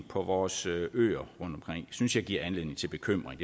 på vores øer synes jeg giver anledning til bekymring